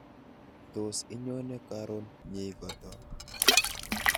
Tos inyone karon nyeikoto